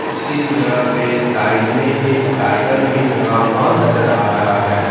उसी जगह पे साइड में एक साइकिल भी लगा हुआ नजर आ रहा है।